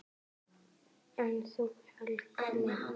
En þú, Helga mín?